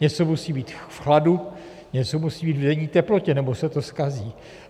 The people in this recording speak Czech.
Něco musí být v chladu, něco musí být v denní teplotě, nebo se to zkazí.